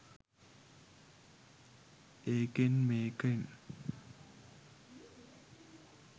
ඒකේන් මේකෙන්